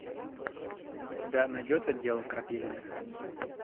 у тебя найдется дело крапивиных